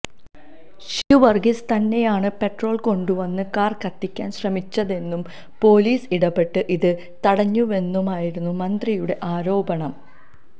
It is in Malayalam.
ഷിജുവർഗീസ് തന്നെയാണ് പെട്രോൾ കൊണ്ടുവന്ന് കാർ കത്തിക്കാൻ ശ്രമിച്ചതെന്നും പൊലീസ് ഇടപെട്ട് ഇത് തടഞ്ഞുവെന്നുമായിരുന്നു മന്ത്രിയുടെ ആരോപണം